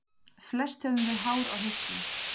Flest höfum við hár á hausnum.